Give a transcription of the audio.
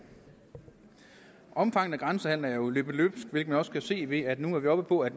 omfanget af grænsehandelen er jo løbet løbsk hvilket man også kan se ved at nu er vi oppe på at